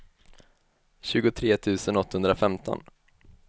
tjugotre tusen åttahundrafemton